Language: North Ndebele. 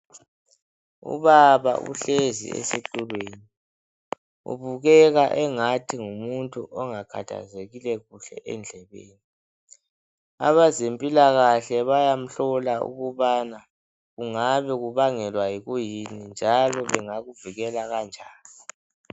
Ubaba uhlezi esitulweni .Ubukeka engathi ngumuntu ongakhathazekile kuhle endlebeni .Abezempilakahle bayamhlola ukubana kungabe kubangelwa yikuyini njalo bengakuvikela kanjani.